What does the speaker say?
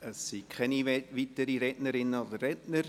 Es gibt keine weiteren Rednerinnen und Redner.